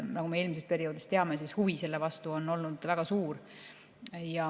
Nagu me eelmisest perioodist teame, huvi selle vastu oli väga suur.